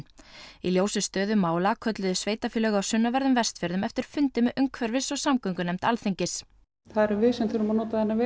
í ljósi stöðu mála kölluðu sveitarfélög á Vestfjörðum eftir fundi með umhverfis og samgöngunefnd Alþingis það erum við sem þurfum að nota þennan veg